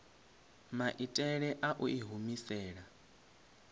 maitele a u i humisela